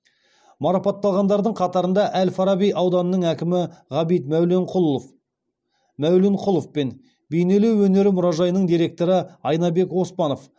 марапатталғандардың қатарында әл фараби ауданының әкімі ғабит мәуленқұлов пен бейнелеу өнері мұражайының директоры айнабек оспанов